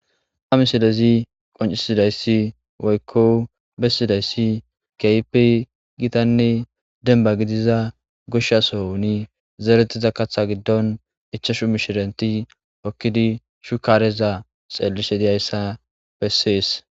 amisilezi qoncisidayssi woykko bessidayssi keype gitanne denba gidiza goshshaso huni zeeretiza kaththa giddon ichashu mishirenti okkidi shukareza xeellishe diyayssa bessees